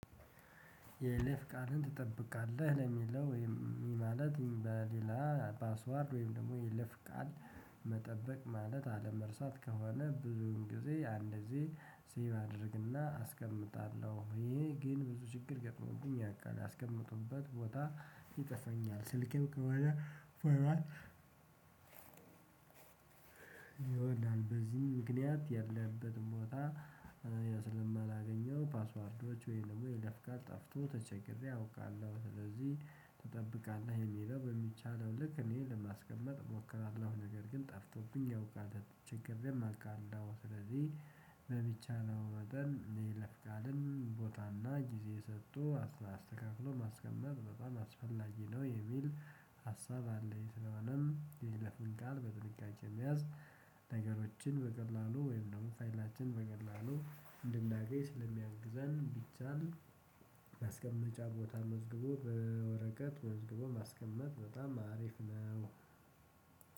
የይለፍ ቃልን ትጠብቃለህ ለሚለው ወይም ማለት በሌላ ፓስዋርድ ወይም ደግሞ የይለፍ ቃል። መጠበቅ ማለት አለመርሳት ከሆነ ብዙን ጊዜ አንደዚህ ሴቭ አደርግና አስቀምጣለሁ። ይሄ ግን ብዙ ችግር ገጥሞብኝ ያውቃል ያስቀመጥኩበት ቦታ ይጠፋኛል። ስልክም ከዋነ ይሆናል። በዚህም ምክንያት ያለበትን ቦታ ስለማላገኘው ፓስወርዶች ወይም ደግሞ የይለፍ ቃል ጠፍቶ ተቸግሬ አውቃለሁ። ስለዚህ ትጠብቃለህ የሚለው በሚቻለው ልክ እኔ ለማስቀመጥ እሞክራለሁ ነገር ግን ጠፍቶብኝ ያውቃል ተቸግሬም አውቃለሁ። ስለዚህ በሚቻለው መጠን የይለፍ ቃልን ቦታና ጊዜ ሰጥቶ አስተካክሎ ማስቀመጥ በጣም አስፈላጊ ነው የሚል ሀሳብ አለኝ። ስለሆነም የይለፍን ቃል በጥንቃቄ መያዝ። ነገሮችን በቀላሉ ወይም ደግሞ ፋይላችን በቀላሉ እንድናገኝ ስለሚያግዘን ቢቻል ማስቀመጫ ቦታ መዝግቦ በወረቀት መዝግቦ ማስቀመጥ በጣም አሪፍ ነው።